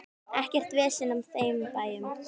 Ekkert vesen á þeim bænum.